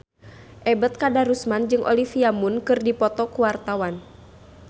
Ebet Kadarusman jeung Olivia Munn keur dipoto ku wartawan